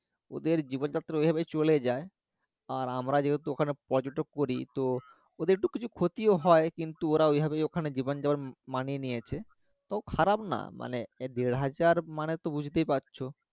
ওদের জীবন যাত্রা ওইভাবে চলে যায় আর আমরা যেহেতু ওখানে পর্যাটক করি তো ওদের একটু কিছু ক্ষতিও হয় কিন্তু ওরা ওইভাবেই ওখানে জীবন যাপন মানিয়ে নিয়েছে তো খারাপ না মানে দেঢ়াজার মানে তো বুঝতেই পারছো